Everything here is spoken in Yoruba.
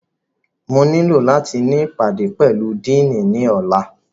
Mo nilo lati ni ipade pẹlu Dìiní ni ọla!